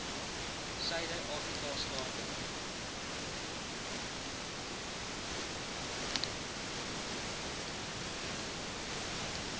suider afrika state